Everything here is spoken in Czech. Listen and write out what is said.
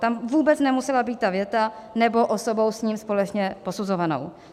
Tam vůbec nemusela být ta věta: "nebo osobou s ním společně posuzovanou".